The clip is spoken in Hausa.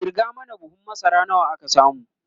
kirga mana buhun masara nawa aka samu!